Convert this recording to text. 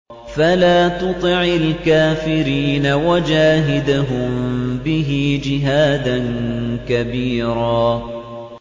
فَلَا تُطِعِ الْكَافِرِينَ وَجَاهِدْهُم بِهِ جِهَادًا كَبِيرًا